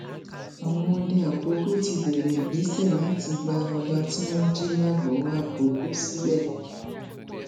àwọn ọdẹ àkọkọ ti bẹrẹ ìgbésẹ láti gba ọba tí wọn jí làgbówààkọkọ sílẹ